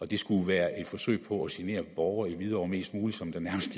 det skulle være et forsøg på at genere borgere i hvidovre mest muligt som der nærmest